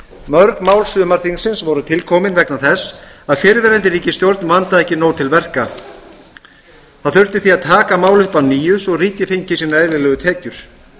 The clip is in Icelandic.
mörg mál sumarþingsins voru til komin vegna þess að fyrrverandi ríkisstjórn vandaði ekki nóg til verka það þurfti því að taka mál upp að nýju svo að ríkið fengið sínar eðlilegu tekjur